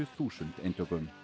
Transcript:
þúsund eintökum